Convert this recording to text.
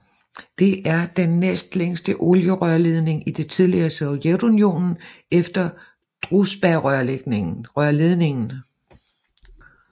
Det er den næstlængste olierørledning i det tidligere Sovjetunionen efter Druzjbarørledningen